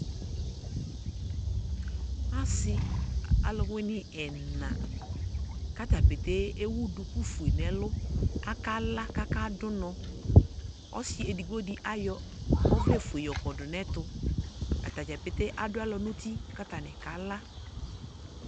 asii alʋwini ɛna kʋ ata pɛtɛɛ ɛwʋ dʋkʋ ƒʋɛ nʋɛlʋ, aka la kʋ aka dʋnɔ, ɔsii ɛdigbɔ di ayɔ ɔvlɛ ƒʋɛ yɔkɔdʋ nʋ ɛtʋ, atagya pɛtɛɛ adʋ alɔ nʋ ʋti kʋ atani kala